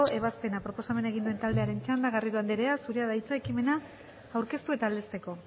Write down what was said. ebazpena proposamen egin duen taldearen txanda garrido anderea zurea da hitza ekimen aurkeztu eta aldezteko